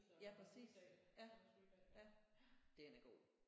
Ja præcis ja ja den er god